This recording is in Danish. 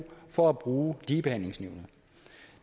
for at bruge ligebehandlingsnævnet